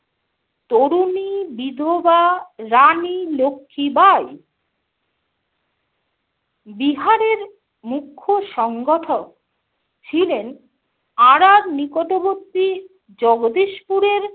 তরুণী বিধবা রানী লক্ষ্মীবাঈ। বিহারের মুখ্য সংগঠক ছিলেন আরার নিকটবর্তী জগদীশপুরের